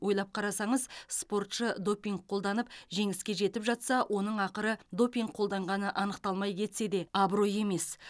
ойлап қарасаңыз спортшы допинг қолданып жеңіске жетіп жатса оның ақыры допинг қолданғаны анықталмай кетсе де абырой емес